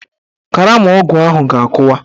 Karama ọgwụ ahụ ga-akụwa.